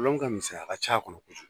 Kolon ka misɛn a ka ca a kɔnɔ